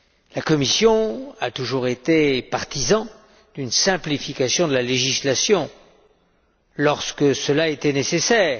La Commission a toujours été partisane d'une simplification de la législation lorsque cela était nécessaire